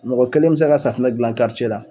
Mɔgɔ kelen bɛ se ka safinɛ dilan la.